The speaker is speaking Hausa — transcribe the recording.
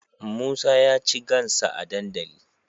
Musa yaci gansa a dandali